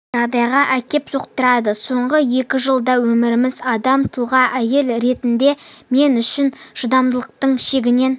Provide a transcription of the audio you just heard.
жағдайға әкеп соқтырады соңғы екі жылдағы өміріміз адам тұлға әйел ретінде мен үшін шыдамдықтың шегінен